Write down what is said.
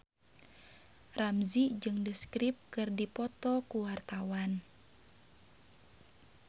Ramzy jeung The Script keur dipoto ku wartawan